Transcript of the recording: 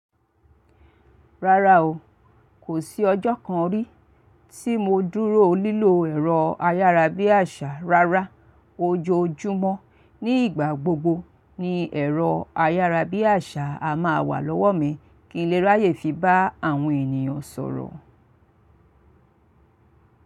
Rárá o, kò sí ọjọ́ kan rí tí mo dúró lílo ẹ̀rọ ayárabíàṣá. Rárá, ojoojúmọ́ ní ìgbà gbogbo ni ẹ̀rọ ayárabíàṣá a máa wà lọ́wọ́ mi, kí n lè ráyè fi bá àwọn ènìyàn sọ̀rọ̀.